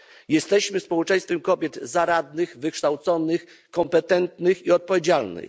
Jesteśmy społeczeństwem kobiet zaradnych, wykształconych, kompetentnych i odpowiedzialnych.